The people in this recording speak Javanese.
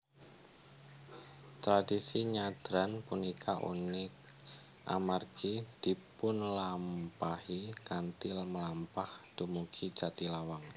Tradisi nyadran punika unik amargi dipunlampahi kanthi mlampah dumugi Jatilawang